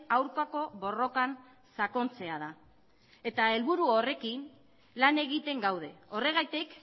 aurkako borrokan sakontzea da eta helburu horrekin lan egiten gaude horregatik